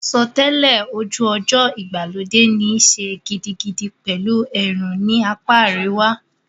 Àsotẹ́lẹ̀ ojú ọjọ́ ìgbàlódé níí ṣe gidigidi pẹ̀lú ẹ̀rùn ní apá àríwá.